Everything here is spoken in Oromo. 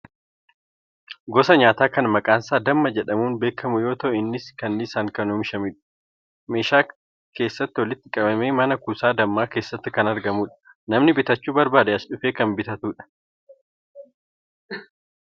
Gosa nyaataa kan maqaan isaa damma jedhamuun beekamu yoo ta'u innis kanniisaan kan oomishamudha. Meeshaa keessatti walitti qabamee mana kuusaa dammaa keessatti kan argamudha. Namni bitachuu barbaade asii dhufee kan bitatudha.